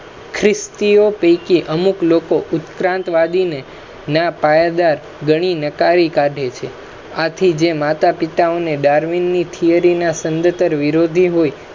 ખ્રિસ્તી ઓ પૈકી અમુક લોકો ઉત્ક્રાંત વાદી ને નાં પાયાદાર ગણી ને નકારી કાઢે છે આથી જે માતા પિતા ને Darwin ના theory ના સંધતર વિરોધી હોય